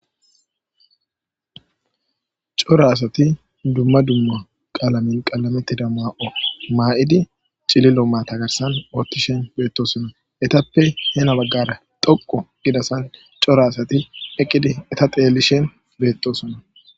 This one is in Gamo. Cora asati dumma dumma qalame diza mayo mayidi,cililo maata garsan utishe beetosona. Eetappe heni baggara dhoqqa bessan daro asay uttidi xeellosona.